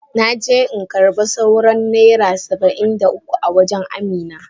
Na je in karba sauran naira Saba'in da uku a wajen amina.